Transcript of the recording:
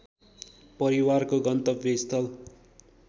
परिवारको गन्तव्यस्थल